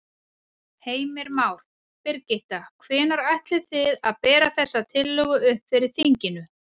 Heimir Már: Birgitta, hvenær ætlið þið að bera þessa tillögu upp fyrir þinginu?